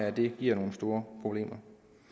at det giver nogle store problemer